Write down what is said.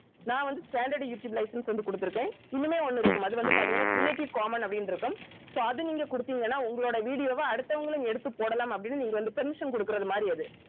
நான் வந்து standard YouTube license வந்து குடுத்திருக்கேன் இன்னுமே ஒண்ணு இருக்கும் அது வந்து பார்த்தீங்கன்னா creative common அப்படின்னு இருக்கும் so அது நீங்க குடுத்தீங்கன்னா உங்களோட video வ அடுத்தவங்களும் எடுத்துப் போடலாம் அப்படின்னு நீங்க வந்து permission குடுக்குறது மாதிரி அது